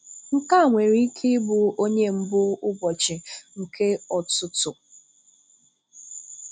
Nke a nwere ike ịbụ onye mbù ụbọchị nke ọ̀tụ́tụ̀.